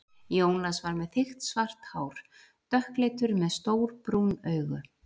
Jónas var með þykkt svart hár, dökkleitur, með stór brún augu.